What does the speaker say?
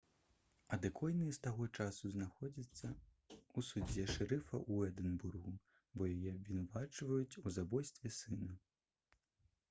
адэкойя з таго часу знаходзіцца ў судзе шэрыфа ў эдынбургу бо яе абвінавачваюць у забойстве сына